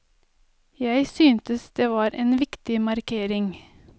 Jeg syntes det var en viktig markering.